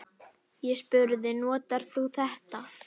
Ég spurði: Notar þú þetta?